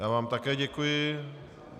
Já vám také děkuji.